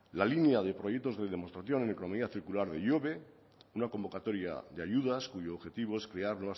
la línea de proyectos de demostración economía circular de ihobe una convocatoria de ayudas cuyo objetivo es crear